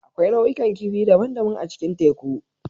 Akwai nau'ikan kifi daban-daban a cikin teku.